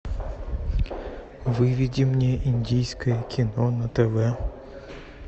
выведи мне индийское кино на тв